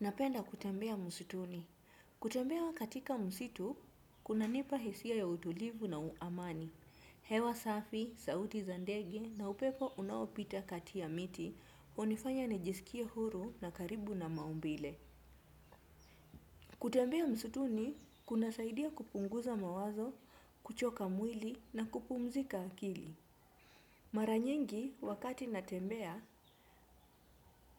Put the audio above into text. Napenda kutembea msituni. Kutembea katika msitu, kunanipa hisia ya utulivu na amani. Hewa safi, sauti za ndege na upepo unaopita kati ya miti, hunifanya nijisikie huru na karibu na maumbile. Kutembea msituni, kunasaidia kupunguza mawazo, kuchoka mwili na kupumzika akili. Mara nyingi, wakati natembea,